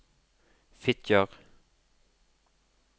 Fitjar